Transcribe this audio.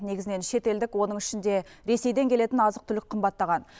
негізінен шетелдік оның ішінде ресейден келетін азық түлік қымбаттаған